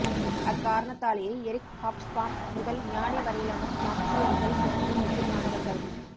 அக்காரணத்தாலேயே Eric Hobsbawm முதல் ஞானி வரையிலான மார்க்ஸியர்கள் எனக்கு முக்கியமானவர்கள்